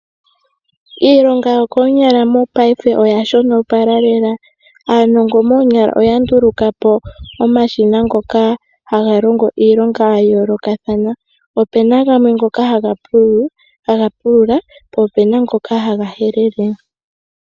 Iilonga yo koonyala mopayife oya shonopala lela. Aanongo moonyala oya nduluka omashina ngoka haga longo iilonga ya yoolokathana, opuna ngoka haga pulula po opuna ngoka haga helele.